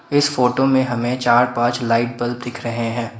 इस फोटो में हमें चार पांच लाइट बल्ब दिख रहे हैं।